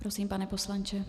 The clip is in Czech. Prosím, pane poslanče.